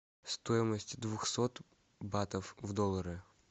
стоимость двухсот батов в доллары